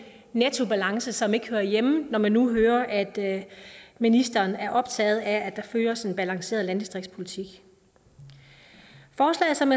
nettobalance som ikke hører hjemme når man nu hører at ministeren er optaget af at der føres en balanceret landdistriktspolitik forslaget som